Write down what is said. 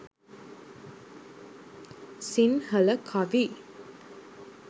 sinhala kavi